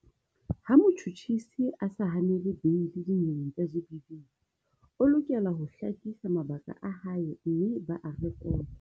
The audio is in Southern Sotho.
Ha motjhutjhisi a sa hanele beili dinyeweng tsa GBV, o lokela ho hlakisa mabaka a hae mme ba a re-kote.